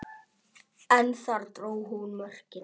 En þar dró hún mörkin.